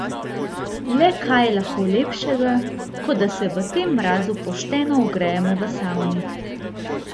Le kaj je lahko lepšega, kot da se v tem mrazu pošteno ogrejemo v savni?